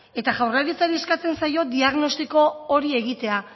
eta jaurlaritzari eskatzen zaio diagnostiko hori egitea